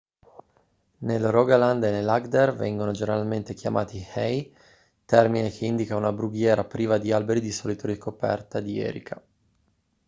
nel rogaland e nell'agder vengono generalmente chiamati hei termine che indica una brughiera priva di alberi di solito ricoperta di erica